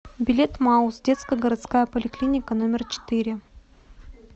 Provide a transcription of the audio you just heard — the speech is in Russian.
билет мауз детская городская поликлиника номер четыре